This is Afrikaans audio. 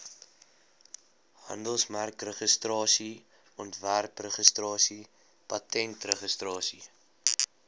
handelsmerkregistrasie ontwerpregistrasie patentregistrasie